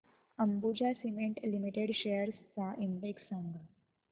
Ambuja cement limited shares चा index सांगा